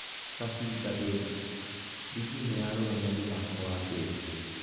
Cabi ngathĩti: Rigi nĩyarũgamia mũthako wa Baze.